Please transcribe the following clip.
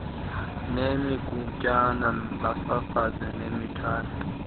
ngemigutyana bafafaze nemithwalo